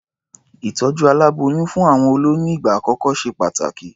Ìtọ̀jú aláboyún fún àwọn olóyún ìgbà àkọ́kọ́ ṣe pàtàkì.